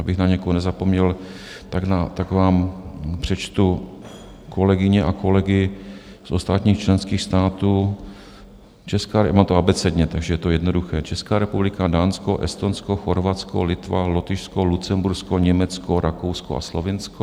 Abych na někoho nezapomněl, tak vám přečtu kolegyně a kolegy z ostatních členských států, a to abecedně, takže je to jednoduché: Česká republika, Dánsko, Estonsko, Chorvatsko, Litva, Lotyšsko, Lucembursko, Německo, Rakousko a Slovinsko.